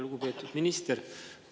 Lugupeetud minister!